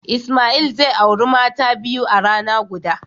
Ismail zai aure mata biyu a rana guda.